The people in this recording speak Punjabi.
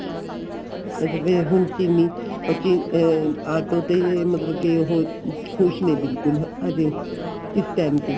ਇਹ ਤੇ ਫੇਰ ਹੁਣ ਚਿਰੀ ਉਹ ਅਹ ਆਟੋ ਤੇ ਮਤਲਬ ਕੀ ਉਹ ਖੁਸ਼ ਨੇ ਬਿਲਕੁਲ ਹਜੇ ਇਸ time ਤੇ